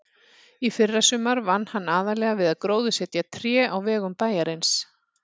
Í fyrrasumar vann hann aðallega við að gróðursetja tré á vegum bæjarins.